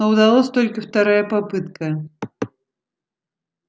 но удалась только вторая попытка